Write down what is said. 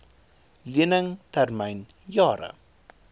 lening termyn jare